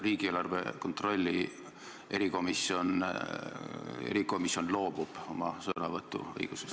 Riigieelarve kontrolli erikomisjon loobub sõnavõtuõigusest.